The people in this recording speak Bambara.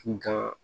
Kun ka